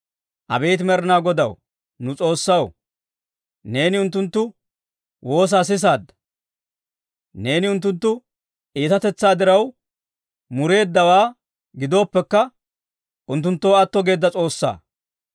Abeet Med'inaa Godaw, nu S'oossaw, neeni unttunttu woosaa sisaadda. Neeni unttunttu iitatetsaa diraw mureeddawaa gidooppekka, unttunttoo atto geedda S'oossaa.